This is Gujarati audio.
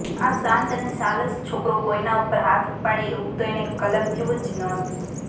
આ શાંત અને સાલસ છોકરો કોઈના ઉપર હાથ ઉપાડે એવું તો એણે કલ્પ્યું જ નહોતું